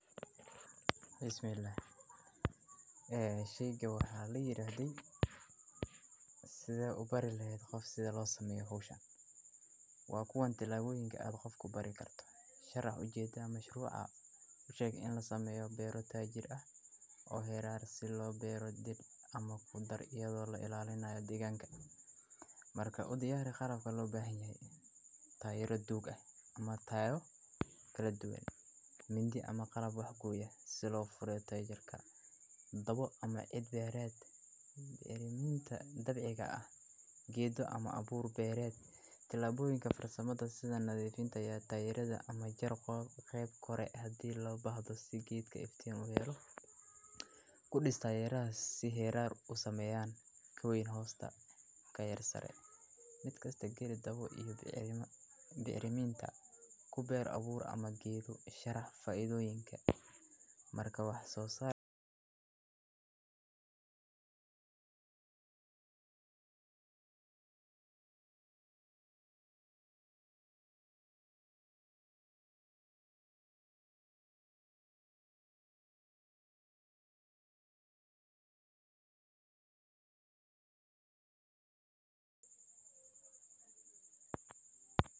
Haa, ismalehen ini ee shayga waxaa la yiraahday sida u bari lahayd qof si loo sameyo hawshaan. Waa kuwan tilaabooyinka aad qofku bari karto. Sharc u jeeda mashruuca u sheeg in la sameeyo beeroo taayiri ah oo heeraar sidii loo beerooda dhid ama ku dar iyadoo la ilaalinayo deegaanka. Marka u diyaarin qaar ka loo baahan yahay taayiro duug ah ama taayiro kala duwan. Mindi ama qarab wax ku yaal sidoo furo taageerka daboc ama cid beered, bicriminta dabeeciga ah, geedo ama abuur beered, tilaabooyinka farasamada sida nadiifintaya taayiradda ama jir qayb qore hadii loo bahdo si giidka iftiin ma yero. Ku dhis taayiraha si heerar u sameeyaan kuwo in hoosta ka yar sare. Midkasta gelid daboc iyo bicerima bicriminta ku beer abuur ama geedu. Sharc faaiidooyinka marka wax soo saara.